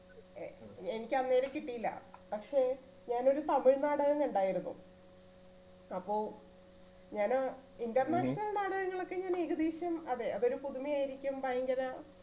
എ~എനിക്ക് അങ്ങേരെ കിട്ടിയില്ല, പക്ഷേ ഞാനൊരു തമിഴ് നാടകം കണ്ടായിരുന്നു അപ്പോ ഞാന് international നാടകങ്ങൾ ഒക്കെ ഞാന് ഏകദേശം അത് അതൊരു പുതുമ ആയിരിക്കും ഭയങ്കര